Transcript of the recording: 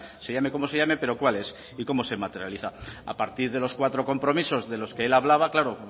se llame como se llame pero cuál es y cómo se materializa a partir de los cuatro compromisos de los que él hablaba claro